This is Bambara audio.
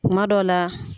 Kuma dɔw la